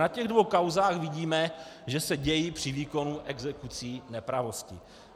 Na těch dvou kauzách vidíme, že se dějí při výkonu exekucí nepravosti.